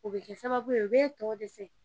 O bɛ kɛ sababu ye o bɛ tɔ dɛsɛ.